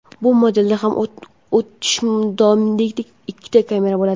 Bu modelda ham o‘tmishdoshidek ikkita kamera bo‘ladi.